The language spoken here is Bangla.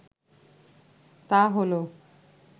তা হলো